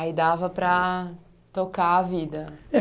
Aí dava para tocar a vida.